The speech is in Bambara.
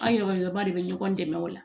An yɛrɛ ba de bɛ ɲɔgɔn dɛmɛ o la